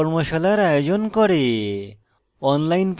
কর্মশালার আয়োজন করে